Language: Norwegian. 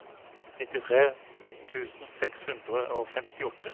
nittitre tusen seks hundre og femtiåtte